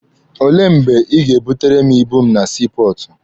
Olee mgbe Ị ga-ebutere m ibu m na sii pọọtụ?